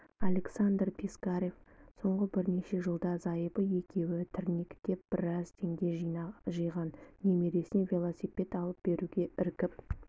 александр пискарев соңғы бірнеше жылда зайыбы екеуі тірнектеп біраз теңге жиған немересіне велосипед алып беруге іркіп